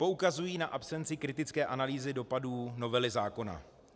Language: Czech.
Poukazují na absenci kritické analýzy dopadů novely zákona.